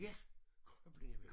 Ja Krøblingevejen